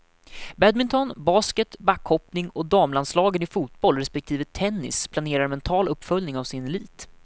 Badminton, basket, backhoppning och damlandslagen i fotboll respektive tennis planerar mental uppföljning av sin elit.